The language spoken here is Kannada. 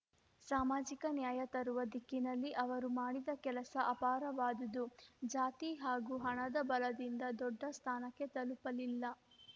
ಸಾಮಾಜಿಕ ನ್ಯಾಯ ತರುವ ದಿಕ್ಕಿನಲ್ಲಿ ಅವರು ಮಾಡಿದ ಕೆಲಸ ಅಪಾರವಾದುದು ಜಾತಿ ಹಾಗೂ ಹಣದ ಬಲದಿಂದ ದೊಡ್ಡ ಸ್ಥಾನಕ್ಕೆ ತಲುಪಲಿಲ್ಲ